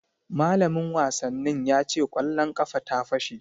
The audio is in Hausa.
Malamin wasannin ya ce kwallon ƙafa ta fashe